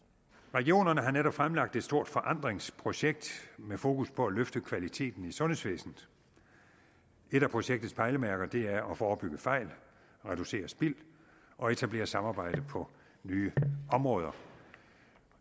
regionerne har netop fremlagt et stort forandringsprojekt med fokus på at løfte kvaliteten i sundhedsvæsenet et af projektets pejlemærker er at forebygge fejl reducere spild og etablere samarbejde på nye områder